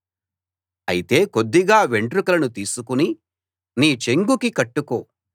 అయితే కొద్దిగా వెంట్రుకలను తీసుకుని నీ చెంగుకి కట్టుకో